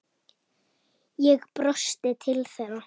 Ég brosti til þeirra.